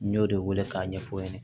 N y'o de wele k'a ɲɛfɔ